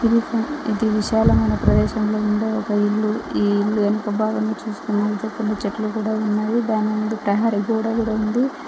ఇది ఒక ఇది విశాలమైన ప్రదేశంలో ఉండే ఒక ఇల్లు ఈ ఇల్లు ఎనక భాగం చూసుకున్నట్లయితే కొన్ని చెట్లు కూడా ఉన్నాయి దాని ముందు ప్రహరీ గోడ కూడా ఉంది.